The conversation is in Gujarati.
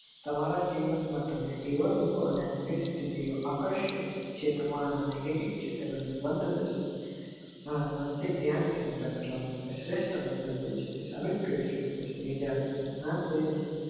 તમારા જીવન માટે એવા લોકો થી આકર્ષ રીતે જે તમારા negative ચિત્ર બંધ બેસે છે જેના મૌખિક ધ્યાન કેન્દ્ર શ્રેષ્ઠ સાબિત કરી શકો છો કે જયારે ધ્યાન દયને